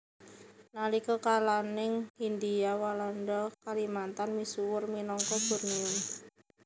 Nalika kalaning Hindia Walanda Kalimantan misuwur minangka Bornéo